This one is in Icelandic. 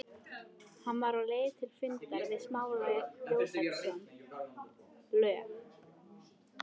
Hann var á leið til fundar við Smára Jósepsson, lög